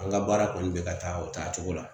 An ka baara kɔni be ka taa o taacogo la.